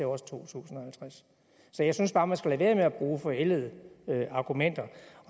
også to tusind og halvtreds så jeg synes bare man skal lade være med at bruge forældede argumenter